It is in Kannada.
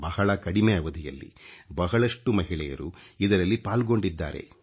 ಬಹಳ ಕಡಿಮೆ ಅವಧಿಯಲ್ಲಿ ಬಹಳಷ್ಟು ಮಹಿಳೆಯರು ಇದರಲ್ಲಿ ಪಾಲ್ಗೊಂಡಿದ್ದಾರೆ